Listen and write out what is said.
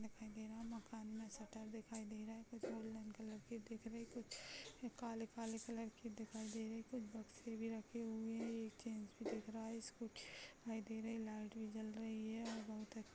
दिखाई दे रहा है मकान में शटर दिखाई दे रहा है कुछ गोल्डन कलर कि दिख रही है कुछ काले-काले कलर कि दिखाई दे रहे है कुछ बक्से भी रखे हुए है एक चेंज भी दिख रहा है स्कूटी दिखाई दे रही है लाइट भी जल रही है और बहुत अच्छा --